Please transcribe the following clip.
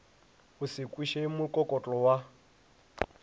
o se kweše mokokotlo wa